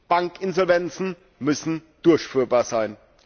Bankinsolvenzen müssen durchführbar sein.